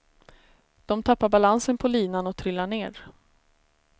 De tappar balansen på linan och trillar ner.